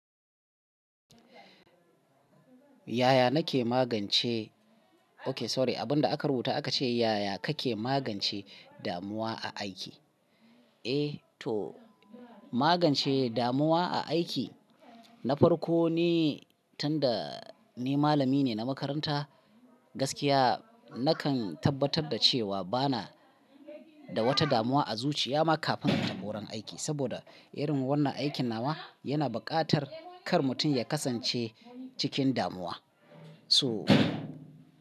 Yaya nake magance, ok sorry, abun da aka rubuta aka ce yaya kake magance damuwa a aiki? Eh to magance damuwa a aiki, na farko ne tun da ni malami ne na makaranta gaskiya nakan tabbatar da cewa bana da wata damuwa a zuciya ma kafin in tafi wurin aiki. Saboda irin wannan aikin nawa yana bukatar kar mutum ya kasance cikin damuwa. So.